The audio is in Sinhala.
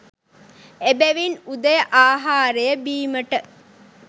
එබැවින් උදය ආහාරය බීමට